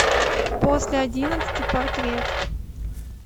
после одиннадцати портрет